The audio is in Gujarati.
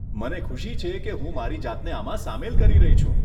મને ખુશી છે કે હું મારી જાતને આમાં સામેલ કરી રહી છું.